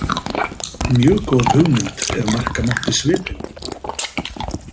Mjög góð hugmynd ef marka mátti svipinn.